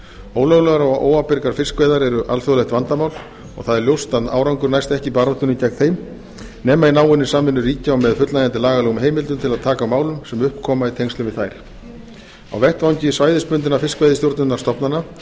ólöglegar og óábyrgar veiðar eru alþjóðlegt vandamál og ljóst er að árangur næst ekki í baráttunni gegn þeim nema í náinni samvinnu ríkja og með fullnægjandi lagalegum heimildum til að taka á málum sem upp koma í tengslum við þær á vettvangi svæðisbundinna fiskveiðistjórnarstofnana